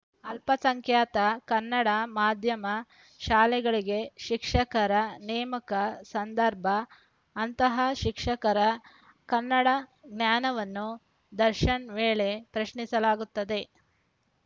ಅಲ್ಪಸಂಖ್ಯಾತ ಕನ್ನಡ ಮಾಧ್ಯಮ ಶಾಲೆಗಳಿಗೆ ಶಿಕ್ಷಕರ ನೇಮಕ ಸಂದರ್ಭ ಅಂತಹ ಶಿಕ್ಷಕರ ಕನ್ನಡ ಜ್ಞಾನವನ್ನು ದರ್ಶನ ವೇಳೆ ಪ್ರಶ್ನಿಸಲಾಗುತ್ತದೆ